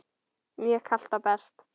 Mjög kalt og bert.